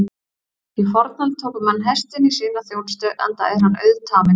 Í fornöld tóku menn hestinn í sína þjónustu enda er hann auðtaminn.